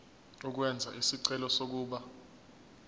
ukwenza isicelo sokuba